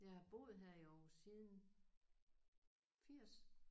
Jeg har boet her i Aarhus siden 80